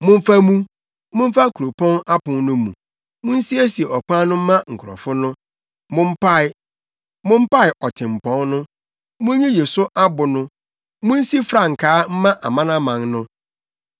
Momfa mu, momfa kuropɔn apon no mu! Munsiesie ɔkwan no mma nkurɔfo no. Mompae, mompae ɔtempɔn no! Munyiyi so abo no. Munsi frankaa mma amanaman no.